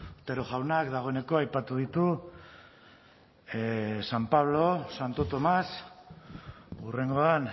otero jaunak dagoeneko aipatu ditu san pablo santo tomás hurrengoan